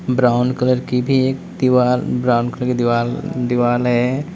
Brown colour की भी एक दीवार ब्राउन कलर की दीवाल दीवाल है।